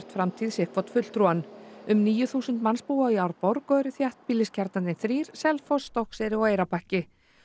framtíð sitt hvorn fulltrúann um níu þúsund manns búa í Árborg og eru þéttbýliskjarnarnir þrír Selfoss Stokkseyri og Eyrarbakki